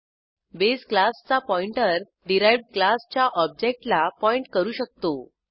base क्लासचा pointer derived क्लासच्या ऑब्जेक्टला पॉईंट करू शकतो